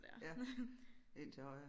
Ja ind til højre